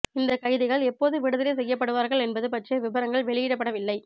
இந்தக் கைதிகள் எப்போது விடுதலை செய்யப்படுவார்கள் என்பது பற்றிய விபரங்கள் வெளியிடப்படவில்லை